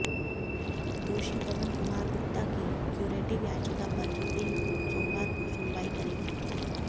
दोषी पवन कुमार गुप्ता की क्यूरेटिव याचिका पर सुप्रीम कोर्ट सोमवार को सुनवाई करेगा